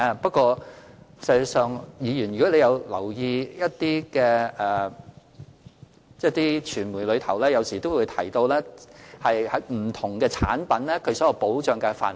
不過，如議員有留意一些傳媒的報道，有時亦會提到不同保險產品的保障範圍。